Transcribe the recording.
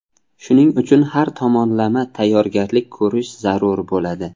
Shuning uchun har tomonlama tayyorgarlik ko‘rish zarur bo‘ladi.